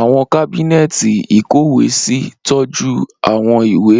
Awọn kábínẹ́ẹ̀tì ìkọ́wèésí tọju awọn iwe